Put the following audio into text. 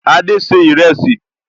Adé ṣe ìrẹsì